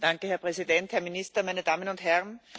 Herr Präsident, Herr Minister, meine Damen und Herren!